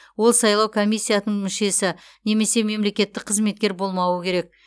ол сайлау комиссиятының мүшесі немесе мемлекеттік қызметкер болмауы керек